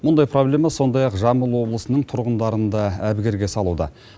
мұндай проблема сондай ақ жамбыл облысының тұрғындарын да әбігерге салуда